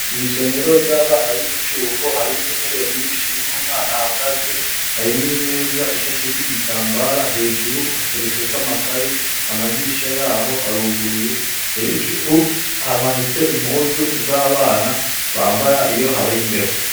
Mw'isomero ry'abana b'imicuko harimwo intebe nyinshi n'umwana hagaze, hari n'imeza ishashek'igitambara hejuru hateretse ko amakaye, amadirisha yaho aruguruye hejuru hamanitse impuzu z'abana bambara iyo habari mbeho.